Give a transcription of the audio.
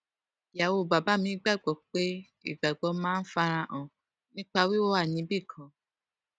ìyàwó bàbá mi gbà gbó pé ìgbàgbọ máa ń fara hàn nípa wíwà níbì kan